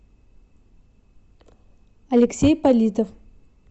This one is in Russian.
алексей политов